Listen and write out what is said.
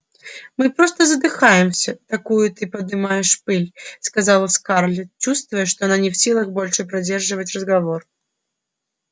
мы просто задыхаемся такую ты поднимаешь пыль сказала скарлетт чувствуя что она не в силах больше поддерживать разговор